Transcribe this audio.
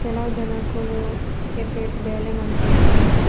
ಕೆಲವು ಜನೊಕುಲು ಕೆಫೆ ಟ್ ಬೇಲೆ ಮಂತೊಂದುಲ್ಲೆರ್.